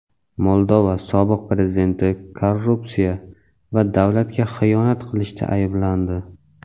Moldova sobiq prezidenti korrupsiya va davlatga xiyonat qilishda ayblandi.